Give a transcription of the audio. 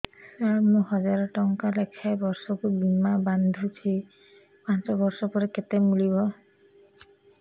ସାର ମୁଁ ହଜାରେ ଟଂକା ଲେଖାଏଁ ବର୍ଷକୁ ବୀମା ବାଂଧୁଛି ପାଞ୍ଚ ବର୍ଷ ପରେ କେତେ ମିଳିବ